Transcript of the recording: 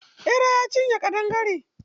Ɓera ya cinye ƙadangare.